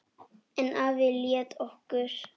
En afi lét okkur